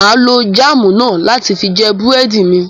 Mà á lo jáámù náà láti fi jẹ búrẹ́dì mi.